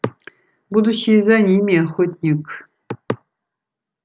будущее за ними охотник